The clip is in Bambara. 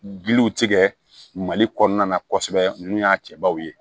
Giliw tigɛ mali kɔnɔna na kosɛbɛ ninnu y'a cɛbaw ye